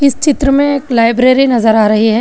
चित्र में एक लाइब्रेरी नजर आ रही है।